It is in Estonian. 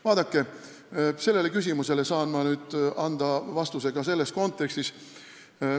Vaadake, sellele küsimusele saan ma nüüd anda vastuse ka selles kontekstis.